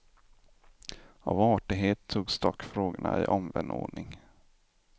Av artighet togs dock frågorna i omvänd ordning.